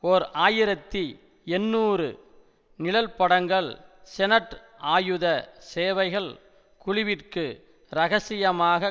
ஓர் ஆயிரத்தி எண்ணூறு நிழற்படங்கள் செனட் ஆயுத சேவைகள் குழுவிற்கு இரகசியமாக